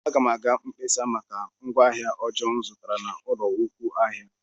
Aga m aga mkpesa maka ngwaahịa ọjọọ m zụtara na nnukwu ụlọ ahịa.